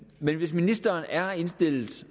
men hvis ministeren er indstillet